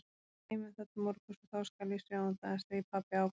Við geymum það til morguns og þá skal ég sjá um það, segir pabbi ákveðinn.